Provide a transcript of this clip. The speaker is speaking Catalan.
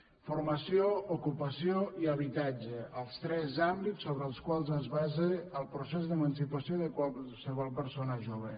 formació ocupació i habitatge els tres àmbits sobre els quals es basa el procés d’emancipació de qualsevol persona jove